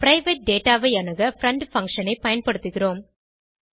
private data ஐ அணுக friend function ஐ பயன்படுத்துகிறோம்